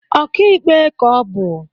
Okiikpe ka ọ bu